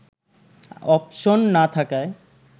option না থাকায়